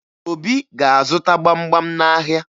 Obi ga-azụta gbamgbam n'ahịa